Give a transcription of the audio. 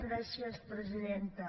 gràcies presidenta